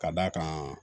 Ka d'a kan